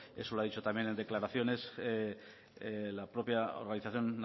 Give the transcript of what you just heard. eso lo ha dicho también declaraciones la propia organización